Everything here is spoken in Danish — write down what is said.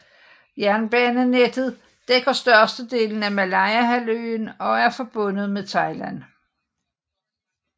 Jernbanenettet dækker størstedelen af Malayahalvøen og er forbundet med Thailand